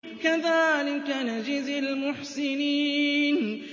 كَذَٰلِكَ نَجْزِي الْمُحْسِنِينَ